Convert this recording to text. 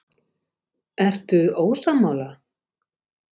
Ertu ósammála?